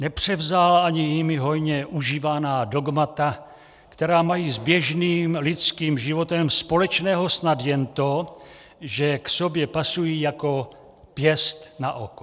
Nepřevzal ani jimi hojně užívaná dogmata, která mají s běžným lidským životem společného snad jen to, že k sobě pasují jako pěst na oko.